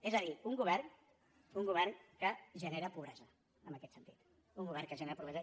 és a dir un govern que genera pobresa en aquest sentit un govern que genera pobresa